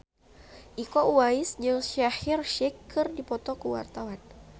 Iko Uwais jeung Shaheer Sheikh keur dipoto ku wartawan